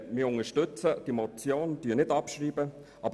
Wir unterstützen also diese Motion und schreiben nicht ab.